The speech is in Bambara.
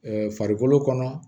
farikolo kɔnɔ